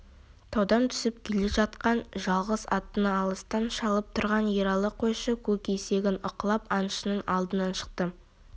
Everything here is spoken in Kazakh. таудан түсіп келе жатқан жалғыз аттыны алыстан шалып тұрған ералы қойшы көк есегін ықылап аңшының алдынан шықты